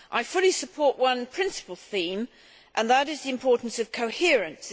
I fully support one principal theme, and that is the importance of coherence.